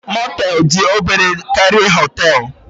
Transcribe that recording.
Mọtel dị obere karịa Họtelu